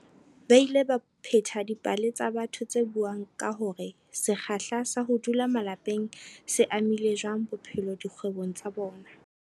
Ba ile ba pheta dipale tsa batho tse buang ka hore se kgahla sa ho dula malapeng se amile jwang bophelo le dikgwebong tsa bona.